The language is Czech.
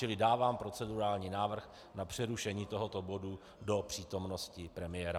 Čili dávám procedurální návrh na přerušení tohoto bodu do přítomnosti premiéra.